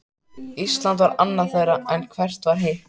Ísland var annað þeirra, en hvert var hitt?